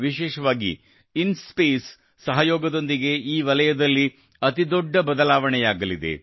ವಿಶೇಷವಾಗಿ ಇನ್ಸ್ಪೇಸ್ ಸಹಯೋಗದೊಂದಿಗೆ ಈ ವಲಯದಲ್ಲಿ ಅತಿ ದೊಡ್ಡ ಬದಲಾವಣೆಯಾಗಲಿದೆ